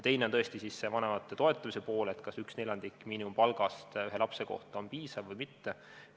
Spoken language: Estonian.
Teine asi on vanemate toetuse pool, see, kas neljandik miinimumpalgast ühe lapse kohta on piisav või mitte.